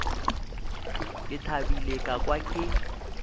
ke thabile ka kwa ke